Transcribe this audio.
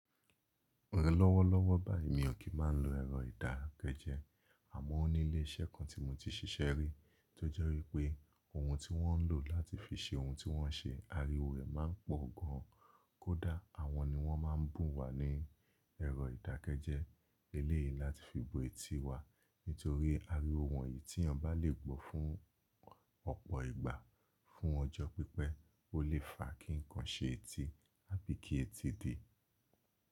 Lọ́wọ́ lọ́wọ́ báyìí mi ò kí máa ń lo ẹ̀rọ ìdákẹ́jẹ́, àmọ́ ó ní ilé iṣẹ́ kan tí mo ti ṣiṣẹ́ rí tó jẹ́ wípé ohun tí wọ́n ń lò láti fi ṣe ohun tí wọ́n ń ṣe, ariwo rẹ̀ má ń pọ̀ gan an. Kódà àwọn ni wọ́n má ń bùn wá ní ẹ̀rọ ìdákẹ́jẹ́ eléyìí láti fi bo etí wa nítorí ariwo wọ̀nyí tí eeyan bá lè gbọ́ fún ọ̀pọ̀ ìgbà fún ọjọ́ pípẹ́, ó lè fa kí ǹkan ṣe etí àbí kí etí dì.